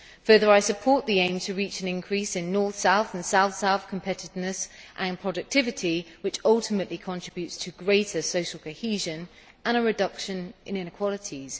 In addition, I support the aim to achieve an increase in north south and south south competitiveness and productivity, which will ultimately contribute to greater social cohesion and a reduction in inequalities.